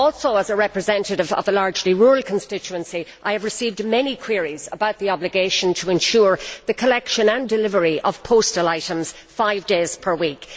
As a representative of a largely rural constituency, I have received many queries about the obligation to ensure the collection and delivery of postal items five days per week.